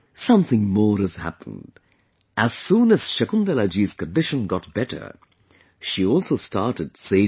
Something more has happened...As soon as Shakuntalaji's condition got better, she also started saving